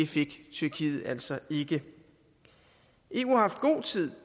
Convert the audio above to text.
fik tyrkiet altså ikke eu har haft god tid